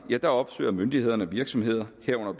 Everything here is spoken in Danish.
opsøger myndighederne virksomheder herunder